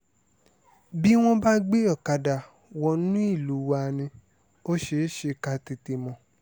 bí wọ́n bá gbé ọ̀kadà wọnú ìlú wa ni ò ṣeé ṣe ká tètè mọ̀